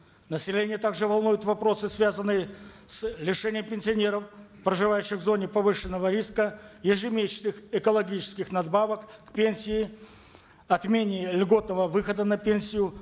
население также волнуют впросы связанные с лишением пенсионеров проживающих в зоне повышенного риска ежемесячных экологических надбавок к пенсии отмене льготного выхода на пенсию